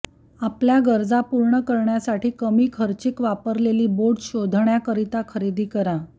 आपल्या गरजा पूर्ण करण्यासाठी कमी खर्चिक वापरलेली बोट शोधण्याकरिता खरेदी करा